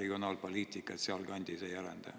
regionaalpoliitikat sealkandis ei arenda?